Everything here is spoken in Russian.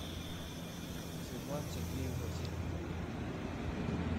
светлану сергеевну васильеву